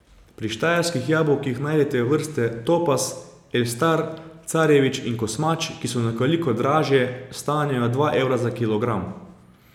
Pri Štajerskih jabolkih najdete vrste topaz, elstar, carjevič in kosmač, ki so nekoliko dražje, stanejo dva evra za kilogram.